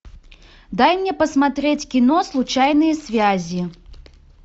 дай мне посмотреть кино случайные связи